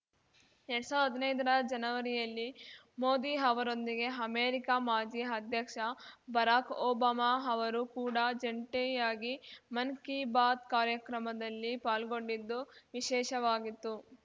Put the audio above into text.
ಎರ್ಡ್ ಸಾವಿರ್ದಾ ಹದಿನೈದರ ಜನವರಿಯಲ್ಲಿ ಮೋದಿ ಅವರೊಂದಿಗೆ ಅಮೆರಿಕ ಮಾಜಿ ಅಧ್ಯಕ್ಷ ಬರಾಕ್‌ ಒಬಾಮಾ ಅವರು ಕೂಡ ಜಂಟಿಯಾಗಿ ಮನ್‌ ಕೀ ಬಾತ್‌ ಕಾರ್ಯಕ್ರಮದಲ್ಲಿ ಪಾಲ್ಗೊಂಡಿದ್ದು ವಿಶೇಷವಾಗಿತ್ತು